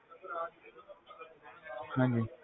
ਹਾਂਜੀ